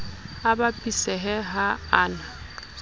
a bapisehe ha a na